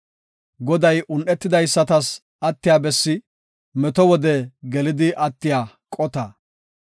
Goday un7etidaysatas attiya bessi; meto wode gelidi attiya qota.